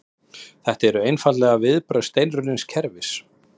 Þetta eru einfaldlega viðbrögð steinrunnins kerfis